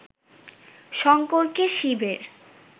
শঙ্করকে শিবের